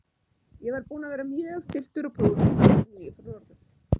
Ég var búinn að vera mjög stilltur og prúður áður en ég fór norður.